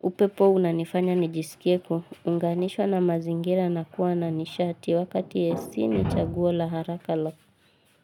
upepo unanifanya nijisikie kuunganishwa na mazingira na kuwa na nishati wakati AC ni chaguwa la haraka la.